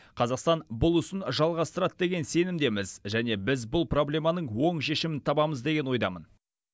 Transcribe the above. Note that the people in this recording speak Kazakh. қазақстан бұл ісін жалғастырады деген сенімдеміз және біз бұл проблеманың оң шешімін табамыз деген ойдамын